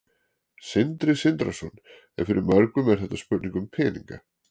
Sindri Sindrason: En fyrir mörgum er þetta spurning um peninga?